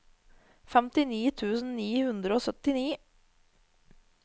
femtini tusen ni hundre og syttini